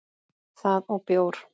Það og bjór.